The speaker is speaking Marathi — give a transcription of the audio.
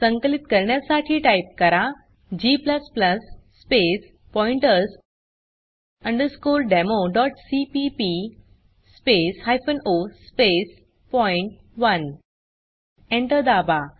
संकलित करण्यासाठी टाइप करा g space pointers democpp space hyphen O space point one Enter दाबा